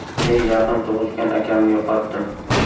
Men yaqin tug‘ishgan akamni yo‘qotdim.